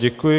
Děkuji.